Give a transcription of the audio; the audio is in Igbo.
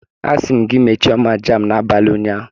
Asi m gi mechie oma jam n'abali unyanya!